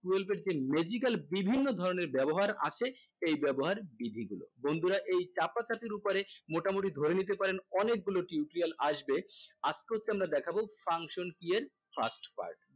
twelve এর যেই magical বিভিন্ন ধরণের ব্যবহার আছে এই ব্যবহার বিধি গুলো বন্ধুরা এই চাপাচাপি উপরে মোটামুটি ধরে নিতে পারেন অনেকগুলো tutorial আসবে আজকে হচ্ছে আমরা দেখাবো function key এর fast part